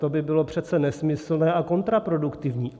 To by bylo přece nesmyslné a kontraproduktivní.